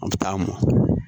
An bɛ taa mɔn